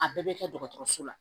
A bɛɛ bɛ kɛ dɔgɔtɔrɔso la